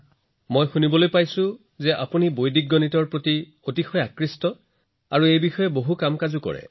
মই শুনিছো যে আপুনি বৈদিক গণিতৰ প্ৰতি যথেষ্ট আগ্ৰহী বহুত কিবা কিবি কৰিছে